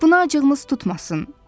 Buna acığımız tutmasın.